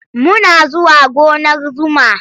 Muna zuwa gonar zuma.